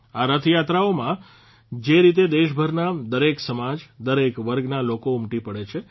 આ રથયાત્રાઓમાં જે રીતે દેશભરના દરેક સમાજ દરેક વર્ગના લોકો ઉમટી પડે છે